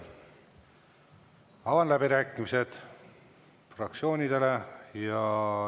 Avan läbirääkimised fraktsioonidele.